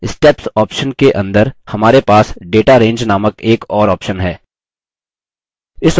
steps option के अंदर हमारे पास data range named एक और option है